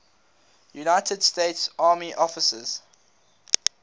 united states army officers